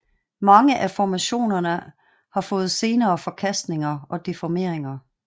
Mange af formationerne har fået senere forkastninger og deformeringer